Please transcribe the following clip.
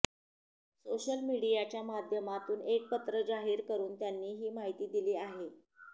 social मीडियाच्या माध्यमातून एक पत्र जाहीर करून त्यांनी ही माहिती दिली आहे